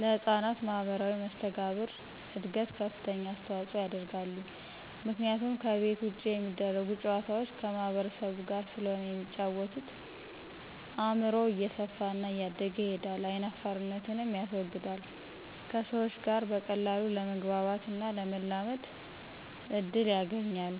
ለህጻናት ማህበራዊ መሰተጋብር እድገት ከፍተኛ አስተዋጽኦ ያደርጋሉ ምክንያቱም ከቤት ውጭ የሚደረጉ ጨዋታዎች ከማህበረሰቡ ጋር ስለሆነ የሚጫወተው አእምሮው እየሰፋና እያደገ ይሄዳል አይናፋርነትንም ያስወግዳል ከሰዎች ጋር በቀላሉ ለመግባባትና ለመላመድ እድል ያገኛል።